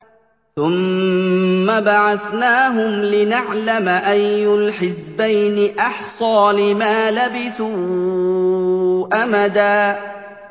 ثُمَّ بَعَثْنَاهُمْ لِنَعْلَمَ أَيُّ الْحِزْبَيْنِ أَحْصَىٰ لِمَا لَبِثُوا أَمَدًا